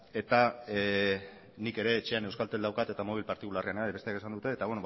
eta nik ere etxean euskaltel daukat eta mobil partikularrean ere bai besteak esan dute eta